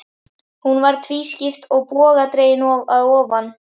Hún var tvískipt og bogadregin að ofan.